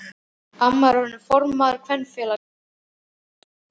Amma er orðin formaður kvenfélagsins fyrir austan.